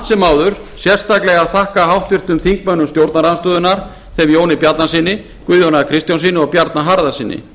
sem áður sérstaklega þakka háttvirtum þingmönnum stjórnarandstöðunnar þeim jóni bjarnasyni guðjóni a kristjánssyni og bjarna harðarsyni